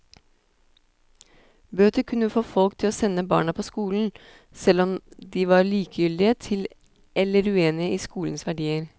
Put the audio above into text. Bøter kunne få folk til å sende barna på skolen, selv om de var likegyldige til eller uenige i skolens verdier.